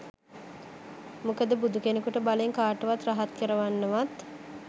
මොකද බුදුකෙනෙකුට බලෙන් කාවවත් රහත් කරවන්නවත්